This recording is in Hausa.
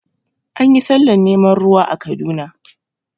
Anyi sallar neman ruwa a Kaduna